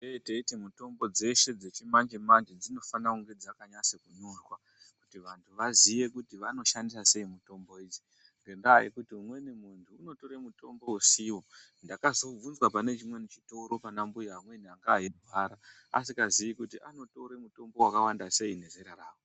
Tinee teiti mitombo dzeshe dzechimanje-manje dzinofane kunge dzakanyasa kunyorwa. Kuti vantu vaziye kuti vanoshandisa sei mitombo idzi. Ngendaa yekuti umweni muntu unotore mutombo usivo ndakazobvunzwa pane chimweni chitoro pana mbuya amweni ane eirwara. Asi ngaziyi kuti anotore mutombo vakawanda sei ngezera ravo.